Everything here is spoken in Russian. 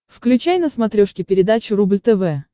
включай на смотрешке передачу рубль тв